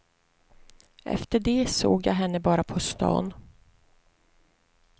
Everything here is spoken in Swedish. Efter det såg jag henne bara på stan.